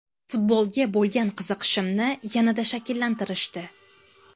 Futbolga bo‘lgan qiziqishimni yanada shakllantirishdi.